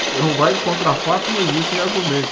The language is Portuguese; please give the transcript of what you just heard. Você não vai encontrar fatos, não existem argumentos.